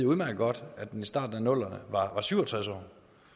udmærket godt at den i starten af nullerne var syv og tres år